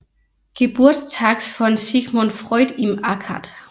Geburtstags von Sigmund Freud im Akad